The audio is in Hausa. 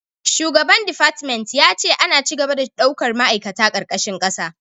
Shugaba defartment ya ce ana ci gaba da daukar ma'aikata karkashin kasa